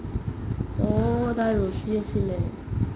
ঔ এদাল ৰচি আছিলে